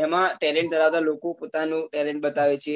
અ એમાં talent ધરાવતા લોકો પોતાનું talent બતાવે છે